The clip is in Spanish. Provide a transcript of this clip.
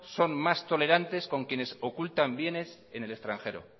son más tolerantes con quienes ocultan bienes en el extranjero